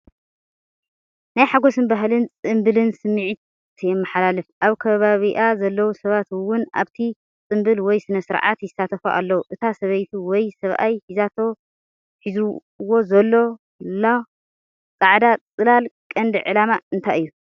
ናይ ሓጎስን ባህልን ጽምብልን ስምዒት የመሓላልፍ። ኣብ ከባቢኣ ዘለዉ ሰባት እውን ኣብቲ ጽምብል ወይ ስነ-ስርዓት ይሳተፉ ኣለዉ። እታ ሰበይቲ ወይ ሰብኣይ ሒዛቶ/ዎ ዘላ/ሎ ጻዕዳ ጽላል ቀንዲ ዕላማ እንታይ እዩ?